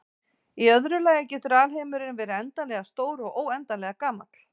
Í öðru lagi getur alheimurinn verið endanlega stór og óendanlega gamall.